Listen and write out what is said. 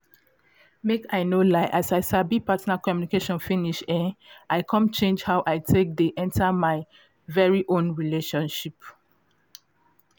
make i no lie na as i sabi partner communication finish um i come change how i take dey enter my um own relationships